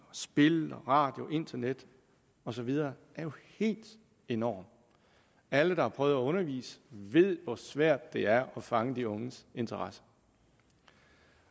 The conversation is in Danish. spil radio internet og så videre er jo helt enorm alle der har prøvet at undervise ved hvor svært det er at fange de unges interesse